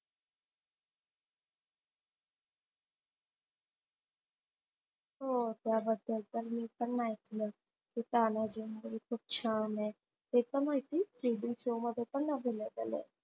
हो त्याबद्दल तर मी पण ऐकलय, कि तानाजी movie खूप छान आहे त्याच्या माहिती TV show मध्ये पण दाखवलय.